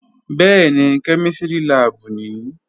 Bẹ́ẹ̀ni, kẹ́mísìrì láàbù nìí